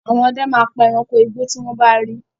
Àwọn ọdẹ máa pa ẹranko igbó tí wọ́n bá rí.